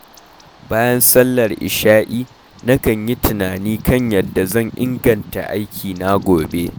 Bayan sallar isha’i, nakan yi tunani kan yadda zan inganta aikina gobe.